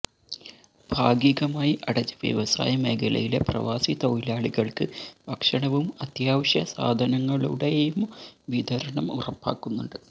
ഭാഗികമായി അടച്ച വ്യവസായ മേഖലയിലെ പ്രവാസി തൊഴിലാളികൾക്ക് ഭക്ഷണവും അത്യാവശ്യ സാധനങ്ങളുടെയും വിതരണംഉറപ്പാക്കുന്നുണ്ട്